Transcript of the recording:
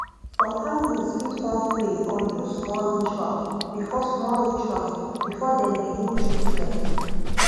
some families fit wan pray or do small ritual before small ritual before dem begin treatment